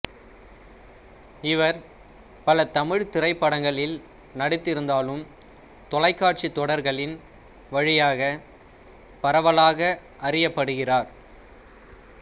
இவர் பல தமிழ்த் திரைப்படங்களில் நடித்திருந்தாலும் தொலைக்காட்சித் தொடர்களின் வழியாக பரவலாக அறியப்படுகிறார்